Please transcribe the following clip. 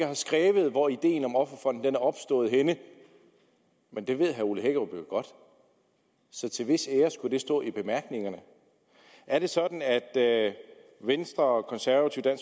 har skrevet hvor ideen om offerfonden er opstået henne men det ved herre ole hækkerup jo godt så til hvis ære skulle det står i bemærkningerne er det sådan at venstre konservative og